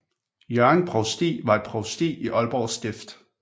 Hjørring Provsti var et provsti i Aalborg Stift